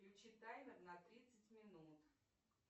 включи таймер на тридцать минут